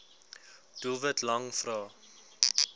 doelwit lang vrae